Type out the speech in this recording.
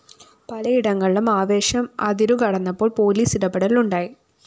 പലയിടങ്ങളിലും ആവേശം അതിരുകടന്നപ്പോള്‍ പോലീസ് ഇടപെടല്‍ ഉണ്ടായി